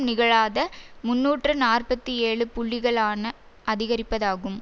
நிகழாத முன்னூற்று நாற்பத்தி ஏழு புள்ளிகளிலான அதிகரிப்பாகும்